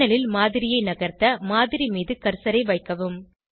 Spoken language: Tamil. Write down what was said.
பேனல் ல் மாதிரியை நகர்த்த மாதிரி மீது கர்சரை வைக்கவும்